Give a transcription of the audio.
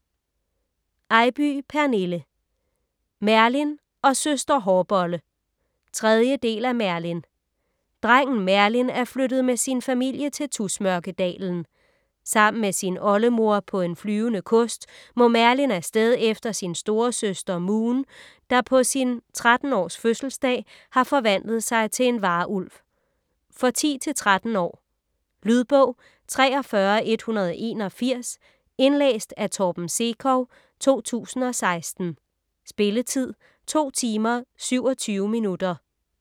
Eybye, Pernille: Merlin og søster hårbolle 3. del af Merlin. Drengen Merlin er flyttet med sin familie til Tusmørkedalen. Sammen med sin oldemor på en flyvende kost må Merlin afsted efter sin storesøster Moon, der på sin 13 års fødselsdag har forvandlet sig til en varulv. For 10-13 år. Lydbog 43181 Indlæst af Torben Sekov, 2016. Spilletid: 2 timer, 27 minutter.